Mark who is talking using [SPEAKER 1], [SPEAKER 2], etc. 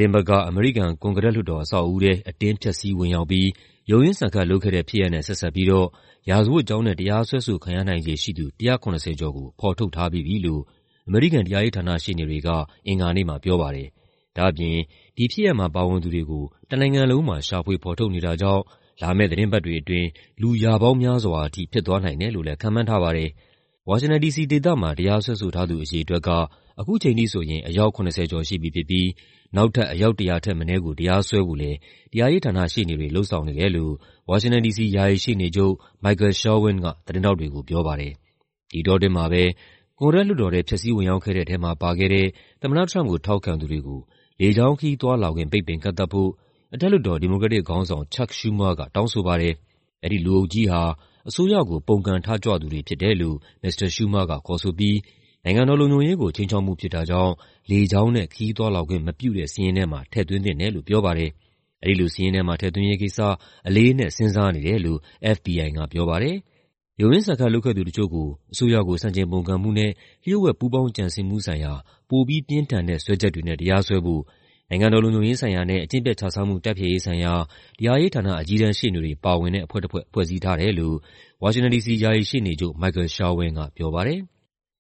[SPEAKER 1] တင်းပတ်က အမေရိကန် ကွန်ဂရက်လွှတ်တော် အဆောက်အဦးထဲ အတင်း ဖျက်ဆီး ဝင်ရောက်ပြီး ရုန်းရင်းဆန်ခတ်လုပ်ခဲ့တဲ့ဖြစ်ရပ်နဲ့ ဆက်စပ်ပြီးတော့ ရာဇဝတ်ကြောင်းနဲ့ တရားစွဲဆိုခံရနိုင်ခြေရှိသူ ၁၇၀ ကျော်ကို ဖော်ထုတ်ထားပြီးပြီလို့ အမေရိကန် တရားရေးဌာန ရှေ့နေတွေက အင်္ဂါနေ့မှာပြောပါတယ်။ ဒါ့အပြင် ဒီဖြစ်ရပ်မှာ ပါဝင်သူတွေကို တနိုင်ငံလုံးမှာ ရှာဖွေဖော်ထုတ်နေတာကြောင့် လာမယ့်သီတင်းပတ်တွေအတွင်း လူ ရာပေါင်းများစွာထိ ဖြစ်သွားနိုင်တယ်လို့လည်း ခန့်မှန်းထားပါတယ်။ ဝါရှင်တန် ဒီစီဒေသမှာ တရားစွဲဆိုထားသူ အရေအတွက်က ခုချိန်ထိဆိုရင် အယောက် ၇၀ ကျော်ရှိပြီဖြစ်ပြီး နောက်ထပ် အယောက် ၁၀၀ ထက်မနည်းကို တရားစွဲဖို့လည်း တရားရေးဌာနရှေ့နေတွေ လုပ်ဆောင်နေတယ်လို့ ဝါရှင်တန် ဒီစီ ယာယီရှေ့နေချုပ် Michael Sherwin က သတင်းထောက်တွေကို ပြောပါတယ်။ ဒီအတောအတွင်းမှာပဲ ကွန်ဂရက်လွှတ်တော်ထဲ ဖျက်ဆီးဝင်ရောက်ခဲ့တဲ့ထဲမှာ ပါခဲ့တဲ့ သမ္မတထရမ့်ပ်ကို ထောက်ခံသူတွေကို လေကြောင်းခရီးသွားလာခွင့် ပိတ်ပင်ကန့်သတ်ဖို့ အထက်လွှတ်တော် ဒီမိုကရက်တစ်ခေါင်းဆောင် CHuck Schumer က တောင်းဆိုပါတယ်။ အဲဒီလူအုပ်ကြီးဟာ အစိုးရကို ပုန်ကန်ထကြွသူတွေဖြစ်တယ်လို့ မစ္စတာ Schumer က ခေါ်ဆိုပြီး နိုင်ငံတော်လုံခြုံရေးကို ခြိမ်းခြောက်မှုဖြစ်တာကြောင့် လေကြောင်းနဲ့ ခရီးသွားလာခွင့်မပြုတဲ့ စာရင်းထဲမှာ ထည့်သွင်းသင့်တယ်လို့ ပြောပါတယ်။ အဲဒီလိုစာရင်းထဲမှာ ထည့်သွင်းရေးကိစ္စ "အလေးအနက်" စဉ်းစားနေတယ်လို့ FBI ကပြောပါတယ်။ ရုန်းရင်းဆန်ခတ် လုပ်ခဲ့သူတချို့ကို အစိုးရကို ဆန့်ကျင်ပုန်ကန်မှုနဲ့ လ ျှို့ဝှက်ပူးပေါင်းကြံစည်မှုဆိုင်ရာ ပိုပြီးပြင်းထန်တဲ့ စွဲချက်တွေနဲ့ တရားစွဲဖို့ နိုင်ငံတော်လုံခြုံရေးဆိုင်ရာနဲ့ အကျင့်ပျက်ခြစားမှု တိုက်ဖျက်ရေးဆိုင်ရာ တရားရေးဌာန အကြီးတန်းရှေ့နေတွေပါဝင်တဲ့ အဖွဲ့တဖွဲ့ ဖွဲ့စည်းထားတယ်လို့ ဝါရှင်တန် ဒီစီ ယာယီရှေ့နေချုပ် Michael Sherwin ကပြောပါတယ်။